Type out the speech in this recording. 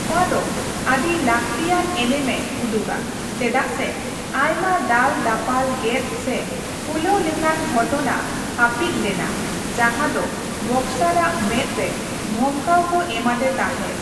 ᱱᱚᱣᱟ ᱫᱚ ᱟᱹᱰᱤ ᱞᱟᱹᱠᱛᱤᱭᱟᱱ ᱮᱱᱮᱢᱮ ᱩᱫᱩᱜᱟ ᱪᱮᱫᱟᱜ ᱥᱮ ᱟᱭᱢᱟ ᱫᱟᱞᱼᱫᱟᱯᱟᱞ ᱜᱮᱫ ᱥᱮ ᱯᱷᱩᱞᱟᱹᱣ ᱞᱮᱠᱟᱱ ᱜᱷᱚᱴᱚᱱᱟ ᱦᱟᱹᱯᱤᱫ ᱞᱮᱱᱟ ᱡᱟᱦᱟᱸ ᱫᱚ ᱵᱚᱠᱥᱟᱨ ᱟᱜ ᱢᱮᱫ ᱨᱮ ᱫᱷᱚᱢᱠᱟᱣ ᱠᱚ ᱮᱢᱟᱫᱮ ᱛᱟᱦᱮᱸᱫ ᱾